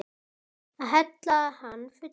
Að hella hann fullan.